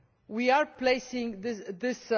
we are placing this